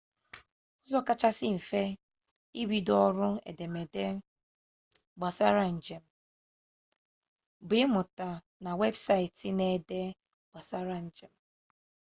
ụzọ kachasị mfe ibido ọrụ edemede gbasara njem bụ ịmụta na webụsaịtị na-ede gbasara njem